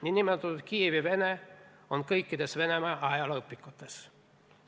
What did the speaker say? Niinimetatud Kiievi-Vene on kõikides Venemaa ajalooõpikutes.